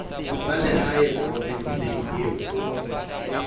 tsa lehae provinseng eo o